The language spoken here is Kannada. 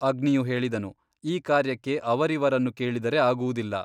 ಅಗ್ನಿಯು ಹೇಳಿದನು ಈ ಕಾರ್ಯಕ್ಕೆ ಅವರಿವರನ್ನು ಕೇಳಿದರೆ ಆಗುವುದಿಲ್ಲ.